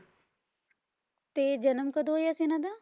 ਤੇ ਜਨਮ ਕਦੋਂ ਹੋਇਆ ਸੀ ਇਹਨਾਂ ਦਾ?